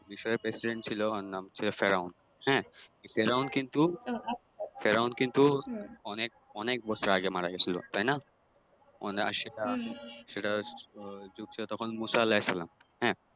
মিশরের President ছিলো অর নাম ছিল ফেরাউন হ্যাঁ ফেরাউন কিন্তু ফেরাউন কিন্তু অনেক অনেক বছর আগে মারা গেছিলো তাইনা সেটা সেটা যুগ ছিলো তখন মূসা আলাহিসাল্লাম হ্যাঁ